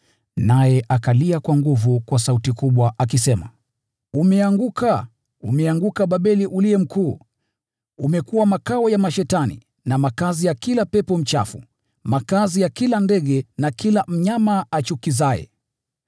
Naye akalia kwa nguvu kwa sauti kubwa, akisema: “Umeanguka! Umeanguka Babeli Mkuu! Umekuwa makao ya mashetani na makazi ya kila pepo mchafu, makazi ya kila ndege na kila mnyama achukizaye.